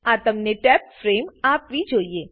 આ તમને tabbed frame આપવી જોઈએ